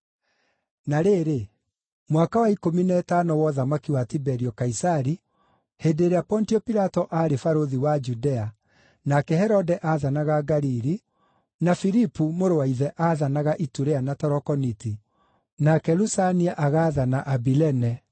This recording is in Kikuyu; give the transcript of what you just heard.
Na rĩrĩ, mwaka wa ikũmi na ĩtano wa ũthamaki wa Tiberio Kaisari, hĩndĩ ĩrĩa Pontio Pilato aarĩ barũthi wa Judea, nake Herode aathanaga Galili, na Filipu mũrũ wa ithe aathanaga Iturea na Tarokoniti, nake Lusania agaathana Abilene,